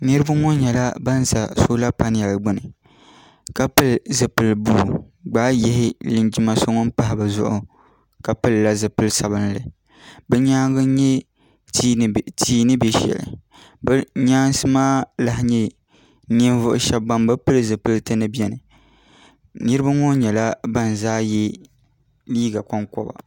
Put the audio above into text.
Niriba ŋɔ nyɛla ban za sola panali ka pili zipil'buluu gbaayihi linjima so ŋun pahi bɛ zuɣu ka pilila zipil sabinli bɛ nyaanga n nyɛ tia ni be sheli bɛ nyaansi maa n nyɛ ninvuɣu sheba ban bɛ pili zipilti gba biɛni niriba ŋɔ nyɛla ban zaa ye liiga konkoba.